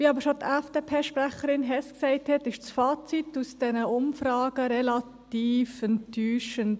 Wie die FDP-Sprecherin Hess sagte, ist das Fazit aus diesen Umfragen jedoch relativ enttäuschend.